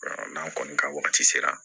n'an kɔni ka wagati sera